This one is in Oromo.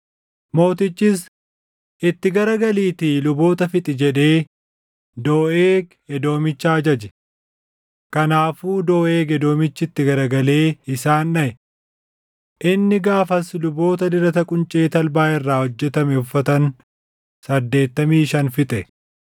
Mootichis, “Itti garagaliitii luboota fixi” jedhee Dooʼeeg Edoomicha ajaje. Kanaafuu Dooʼeeg Edoomichi itti garagalee isaan dhaʼe. Inni gaafas luboota dirata quncee talbaa irraa hojjetame uffatan saddeettamii shan fixe.